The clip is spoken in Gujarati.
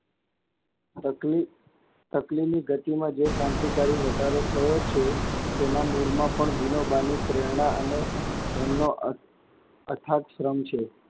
તકલી, તકલી ની ગતિમાં જે ક્રાંતિકારી વધારો થયો છે, તેનાં મૂળમાં પણ વિનોબાની પ્રેરણાં અને એમનો અ~અર્થાત શ્રમ છે.